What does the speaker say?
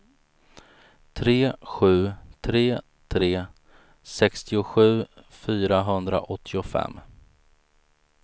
tre sju tre tre sextiosju fyrahundraåttiofem